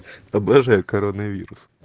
обожаю коронавирус